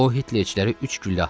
O hitlerçilərə üç güllə atdı.